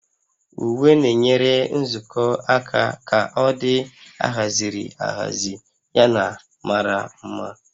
Uwe na-enyere nzukọ aka ka ọ dị ahaziri ahazi yana mara mma